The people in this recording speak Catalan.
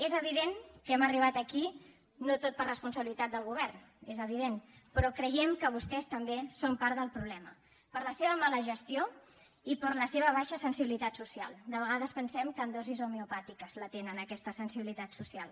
és evident que hem arribat aquí no tot per responsabilitat del govern és evident però creiem que vostès també són part del problema per la seva mala gestió i per la seva baixa sensibilitat social de vegades pensem que en dosis homeopàtiques la tenen aquesta sensibilitat social